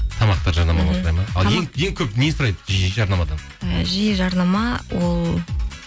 тамақты жарнамалауды сұрайды ма ең көп нені сұрайды жиі жарнамадан жиі жарнама ол